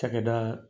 Cakɛda